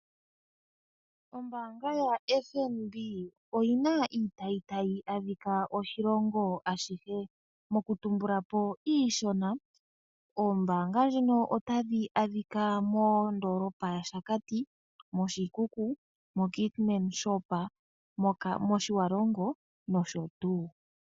Ombaanga yaFNB oyi na iitayi tayi adhika moshilongo ashihe. Okutumbula po iishona, iitayimbaanga mbika otayi adhika moondoolopa yaShakati, Oshikuku, moKeetmanshoop, mOtjiwarongo nosho tuu.